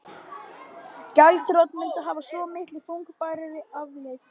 Gjaldþrot mundi hafa svo miklu þungbærari afleið